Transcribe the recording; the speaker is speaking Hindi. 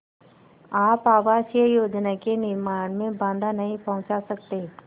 आप आवासीय योजना के निर्माण में बाधा नहीं पहुँचा सकते